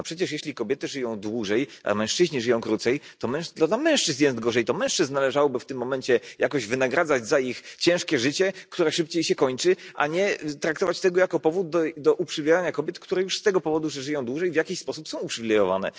No przecież, jeśli kobiety żyją dłużej, a mężczyźni żyją krócej, to dla mężczyzn jest gorzej, to mężczyzn należałoby w tym momencie jakoś wynagradzać za ich ciężkie życie, które szybciej się kończy, a nie traktować tego jako powód do uprzywilejowania kobiet, które już z tego powodu, że żyją dłużej, w jakiś sposób są uprzywilejowane.